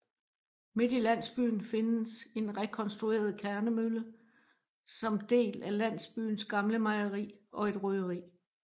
Midt i landsbyen findes en rekonstrueret kærnemølle som del af landsbyens gamle mejeri og et røgeri